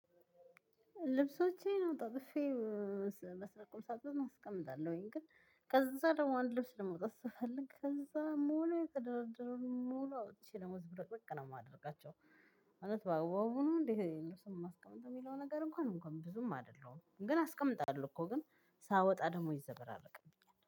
ልብሶቼን አጣጥፌ ቁምሳጥን አስቀምጣለሁኝ። ግን ከዛ ደግሞ አንድ ልብስ ለማውጣት ስፈልግ ከዛ ሙሉ የተደረደረ ሙሉ አውጥቼ ደሞ ዝብረቅ ብቅ ነው የማደርጋቸው። ማለት በአግባቢ ነው እንዴ የማስቀምጠው የሚለው ነገር እንኳን እንኳን ብዙም አይደለም። ግን አስቀምጣለሁ እኮ ግን ሳወጣ ደግሞ ይዘበራረቅብኛል